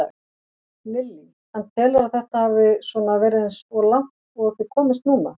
Lillý: En telurðu að þetta hafi svona verið eins og langt og þið komist núna?